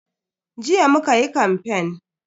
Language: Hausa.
Jiya muka yi kamfen.